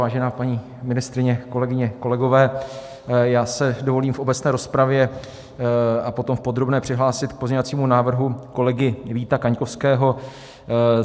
Vážená paní ministryně, kolegyně, kolegové, já se dovolím v obecné rozpravě a potom v podrobné přihlásit k pozměňovacímu návrhu kolegy Víta Kaňkovského.